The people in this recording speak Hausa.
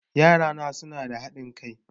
Yarana suna da haɗin kai